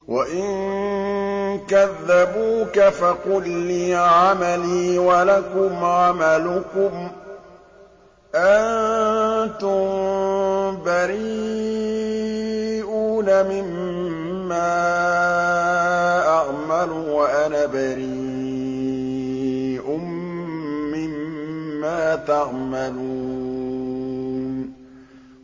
وَإِن كَذَّبُوكَ فَقُل لِّي عَمَلِي وَلَكُمْ عَمَلُكُمْ ۖ أَنتُم بَرِيئُونَ مِمَّا أَعْمَلُ وَأَنَا بَرِيءٌ مِّمَّا تَعْمَلُونَ